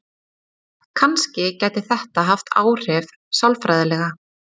Kannski gæti þetta haft áhrif sálfræðilega.